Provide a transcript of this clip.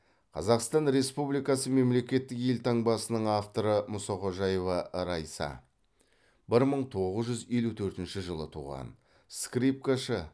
қазақстан республикасы мемлекеттік елтаңбасының авторы мұсақожаева райса бір мың тоғыз жүз елу төртінші жылы туған скрипкашы